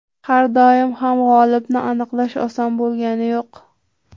Har doim ham g‘olibni aniqlash oson bo‘lgani yo‘q.